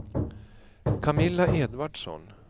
Camilla Edvardsson